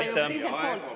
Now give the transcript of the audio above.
Hea küsija, teie aeg!